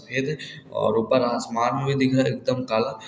ये देख और ऊपर आसमान भी दिख रहा एकदम काला।